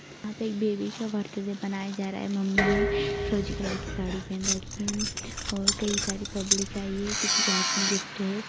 यहाँ पे एक बेबी का बर्थडे मनाया जा रहा है मम्मी ने फीरोजी कलर की साड़ी पेहन रखी है और कई सारी पब्लिक आई है किसी के हाथ मे गिफ्ट है।